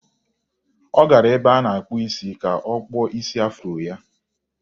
Ọ gara ebe a na-akpụ isi ka a kpụọ isi afuro ya.